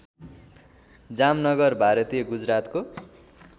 जामनगर भारतीय गुजरातको